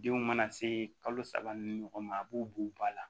Denw mana se kalo saba ni ɲɔgɔn ma a b'u b'u ba la